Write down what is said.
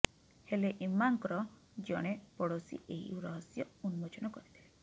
ହେଲେ ଇମାମ୍ଙ୍କର ଜଣେ ପଡ଼ୋଶୀ ଏହି ରହସ୍ୟ ଉନ୍ମୋଚନ କରିଥିଲେ